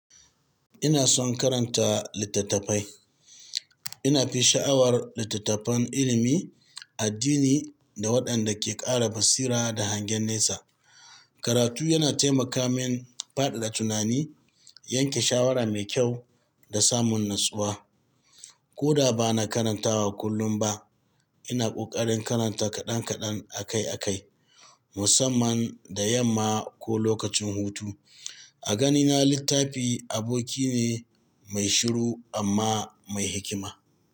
Ina son karanta littattafai. Ina fi sha'awar littattafan ilimi, addini da waɗanda ke ƙara basira da hangen nesa. Karatu yana taimaka min faɗaɗa tunani, yanke shawara mai kyau da samun natsuwa. Ko da ba na karantawa kullum ba, ina ƙoƙarin karanta kaɗan kaɗan akai akai, musamman da yamma ko lokacin hutu. A ganina littafi aboki ne mai shiru amma mai hikima.